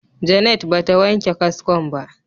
Janet ba ta wanke kaskon ba.